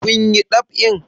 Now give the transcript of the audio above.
Kun yi ɗab'in?